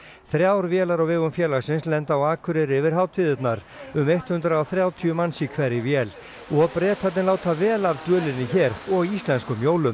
þrjár vélar á vegum félagsins lenda á Akureyri yfir hátíðirnar um hundrað og þrjátíu manns í hverri vél og Bretarnir láta vel af dvölinni hér og íslenskum jólum